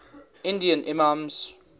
indian imams